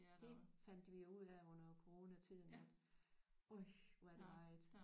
Det fandt vi jo ud af under coronatiden at øj hvor er der meget